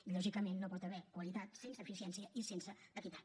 i lògicament no hi pot haver qualitat sense eficiència i sense equitat